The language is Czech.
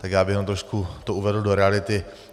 Tak já bych jenom trošku to uvedl do reality.